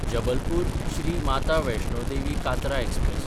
जबलपूर–श्री Mata Vaishno Devi Katra express